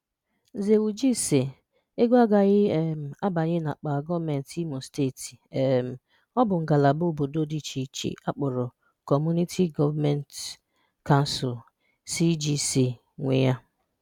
Nzewuji si 'Ego a gaghị um abanye n'akpa gọọmentị Imo steeti, um ọ bụ ngalaba obodo dị icheiche akporọ Kọmmụniti Gọọmentị Kansul (CGC) nwe ya.